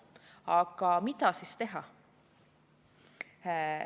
Aga mida siis teha?